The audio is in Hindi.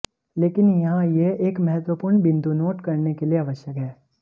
लेकिन यहाँ यह एक महत्वपूर्ण बिंदु नोट करने के लिए आवश्यक है